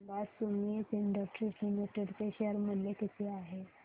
सांगा Sumeet industries limited चे share मूल्य किती आहे